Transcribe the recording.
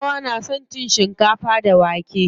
Kanawa na son cin shikafa da wake.